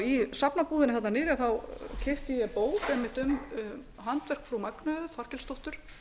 í safnabúðinni þarna niðri keypti ég bók einmitt um handverk frú magneu þorkelsdóttur